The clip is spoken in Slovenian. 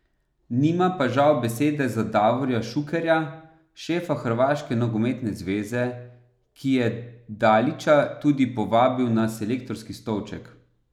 Nima pa žal besede za Davorja Šukerja, šefa Hrvaške nogometne zveze, ki je Dalića tudi povabil na selektorski stolček.